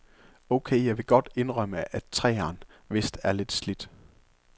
Okay, jeg vil godt indrømme, at treeren vist er lidt slidt.